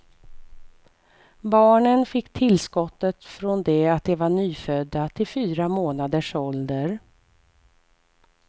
Barnen fick tillskottet från det att de var nyfödda till fyra månaders ålder.